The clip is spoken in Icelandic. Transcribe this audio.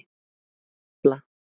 Hjalla